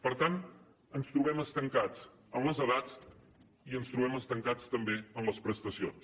per tant ens trobem estancats en les edats i ens trobem estancats també en les prestacions